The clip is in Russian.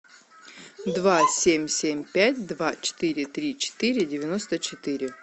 два семь семь пять два четыре три четыре девяносто четыре